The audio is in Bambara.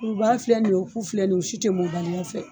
Kurubaga filɛ nin ye wo, ku filɛ nin u si tɛ mɔbali ya fɛ.